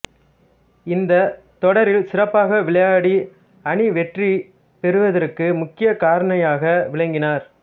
இந்தத் தொடரில் சிறப்பாக விளையாடி அணி வெற்றி பெறுவதற்கு முக்கியக் காரணியாக விளங்கினார்